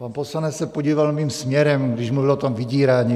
Pan poslanec se podíval mým směrem, když mluvil o tom vydírání.